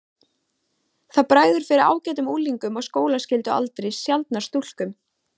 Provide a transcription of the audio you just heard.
Það bregður fyrir ágætum unglingum á skólaskyldualdri, sjaldnar stúlkum.